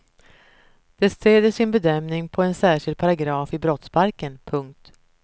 De stöder sin bedömning på en särskild paragraf i brottsbalken. punkt